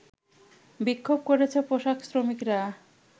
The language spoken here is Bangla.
বিক্ষোভ করেছে পোশাক শ্রমিকরা